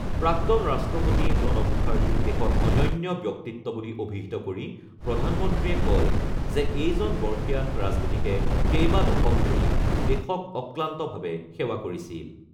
প্ৰাক্তন ৰাষ্ট্ৰপতি প্ৰণৱ মুখাৰ্জীক দেশৰ অনন্য ব্যক্তিত্ব বুলি অভিহিত কৰি প্ৰধানমন্ত্ৰীয়ে কয় যে এইজন বৰ্ষীয়ান ৰাজনীতিকে কেইবা দশক ধৰি দেশক অক্লান্তভাৱে সেৱা কৰিছিল।